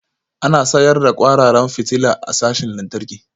Ana sayar da kwararan fitila a sashin lantarki